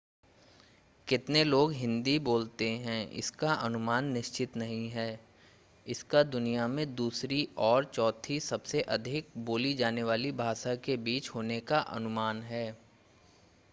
कितने लोग हिंदी बोलते हैं इसका अनुमान निश्चित नहीं है इसका दुनिया में दूसरी और चौथी सबसे अधिक बोली जाने वाली भाषा के बीच होने का अनुमान है